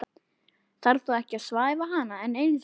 Þarf þá ekki að svæfa hana enn einu sinni?